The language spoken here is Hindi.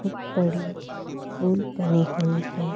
बहुत बड़ी पूल बनी हुई है।